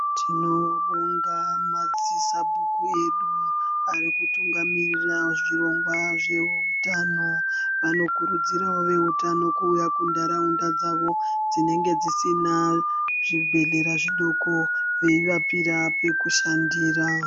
Tinobonga madzisabhuku edu arikutungamirira zvirongwa zvehutano vanokurudzirawo veutano kuuya kundaraunda dzavo dzinenge dzisini zvibhedhlera zvidoko veyivapira pekushandira.